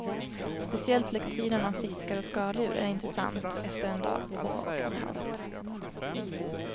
Speciellt lektyren om fiskar och skaldjur är intressant efter en dag på och i havet.